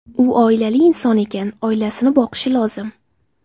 U oilali inson ekan, oilasini boqishi lozim.